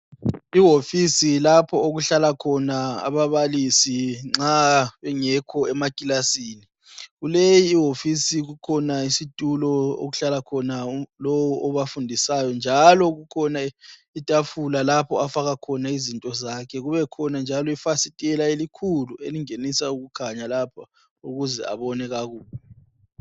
Iwofisi lapha okuhlala khona ababalisi nxa bengekho emakilasini. Kuleyi iwofisi kukhona isitulo okuhlala khona lo obafundisayo njalo kukhona itafula lapha afaka khona izinto zakhe kube khona njalo ifasitela elikhulu elingenisa ukukhanya lapha ukuze abone kakuhle.